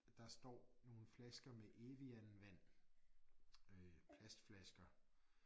Der står nogle flasker med Evian vand øh plastflasker